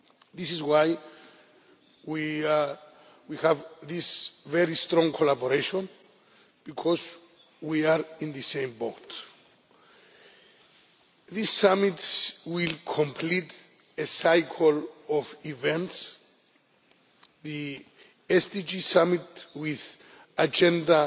This is why we have this very strong collaboration because we are in the same boat. This Summit will complete a cycle of events the SDG Summit with Agenda